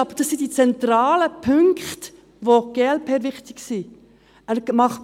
Das sind die zentralen Punkte, die der glp-Fraktion wichtig sind.